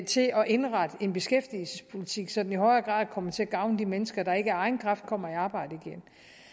til at indrette en beskæftigelsespolitik så den i højere grad kommer til at gavne de mennesker der ikke af egen kraft kommer i arbejde igen